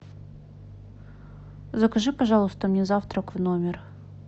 закажи пожалуйста мне завтрак в номер